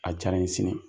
A diyara n ye sini